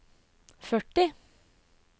førti